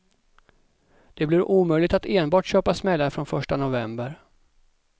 Det blir omöjligt att enbart köpa smällare från första november.